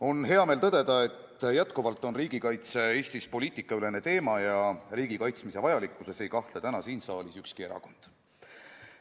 On hea meel tõdeda, et jätkuvalt on riigikaitse Eestis poliitikaülene teema ja riigi kaitsmise vajalikkuses ei kahtle täna siin saalis ükski erakond.